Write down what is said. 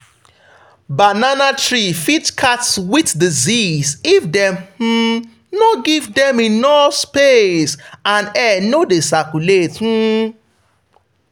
banana tree fit catch wilt disease if dem um no give dem enough space and air no dey circulate. um